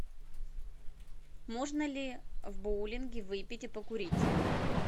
можно ли в боулинге выпить и покурить